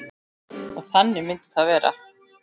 Og þannig myndi það vera.